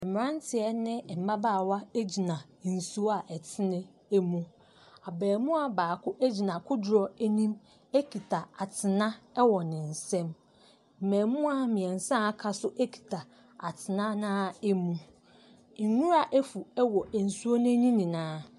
Mmrante ne mmabaawa gyina nsuo a ɛtene mu. Abamuwa baako gyina kodoɔ anim ekita atena wɔ ne nsam. Mmamuwa mmiɛnsa aka no kita atena no ara mu. Nwura afu wɔ nsuo no ani nyinaa.